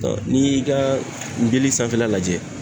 Dɔn n'i y'i ka nbili sanfɛla lajɛ